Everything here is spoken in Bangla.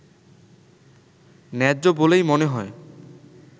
ন্যায্য বলেই মনে হয়